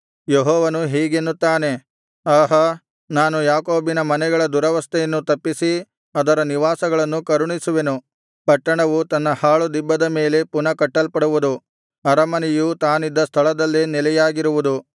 ಯೆಹೋವನು ಹೀಗೆನ್ನುತ್ತಾನೆ ಆಹಾ ನಾನು ಯಾಕೋಬಿನ ಮನೆಗಳ ದುರವಸ್ಥೆಯನ್ನು ತಪ್ಪಿಸಿ ಅದರ ನಿವಾಸಗಳನ್ನು ಕರುಣಿಸುವೆನು ಪಟ್ಟಣವು ತನ್ನ ಹಾಳುದಿಬ್ಬದ ಮೇಲೆ ಪುನಃ ಕಟ್ಟಲ್ಪಡುವುದು ಅರಮನೆಯು ತಾನಿದ್ದ ಸ್ಥಳದಲ್ಲೇ ನೆಲೆಯಾಗಿರುವುದು